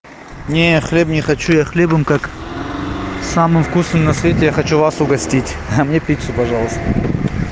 нет хлеб не хочу я хлебом как самым вкусным на свете я хочу вас угостить а мне пиццу пожалуйста